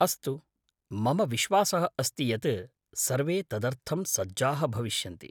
अस्तु, मम विश्वासः अस्ति यत् सर्वे तदर्थं सज्जाः भविष्यन्ति।